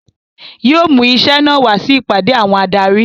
Yóò mú iṣẹ́ náà wá sí ìpàdé àwọn adarí